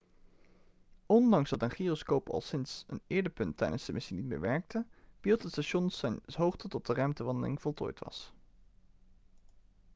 ondanks dat een gyroscoop al sinds een eerder punt tijdens de missie niet meer werkte behield het station zijn hoogte tot de ruimtewandeling voltooid was